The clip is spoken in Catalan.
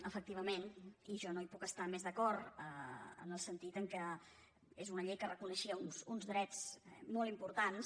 efectivament i jo no hi puc estar més d’acord en el sentit que és una llei que reconeixia uns drets molt importants